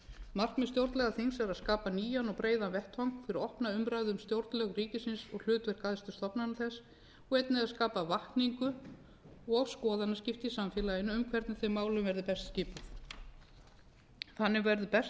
markmið stjórnlagaþings er að skapa nýjan og breiðan vettvang fyrir opna umræðu um stjórnlög ríkisins og hlutverk æðstu stofnana þess og einnig að skapa vakningu og skoðanaskipti í samfélaginu um hvernig þeim málum verið best skipað þannig verður best